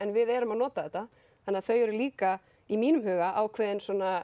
við erum að nota þetta þannig þau eru líka í mínum huga ákveðinn